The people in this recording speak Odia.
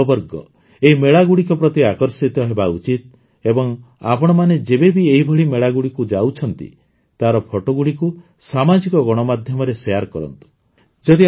ଆମର ଯୁବବର୍ଗ ଏହି ମେଳାଗୁଡ଼ିକ ପ୍ରତି ଆକର୍ଷିତ ହେବା ଉଚିତ ଏବଂ ଆପଣମାନେ ଯେବେବି ଏହିଭଳି ମେଳାଗୁଡ଼ିକୁ ଯାଉଛନ୍ତି ତାର ଫଟୋଗୁଡ଼ିକୁ ସାମାଜିକ ଗଣମାଧ୍ୟମରେ ସେୟାର କରନ୍ତୁ